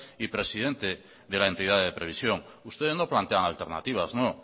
y presidente de la entidad de previsión ustedes no plantean alternativas no